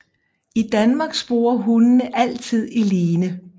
I Danmark sporer hundene altid i line